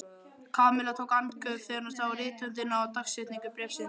Kamilla tók andköf þegar hún sá rithöndina og dagsetningu bréfsins.